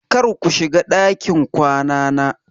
Kar ku shiga ɗakin kwanana!